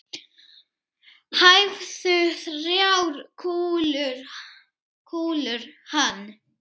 Hæfðu þrjár kúlur hann.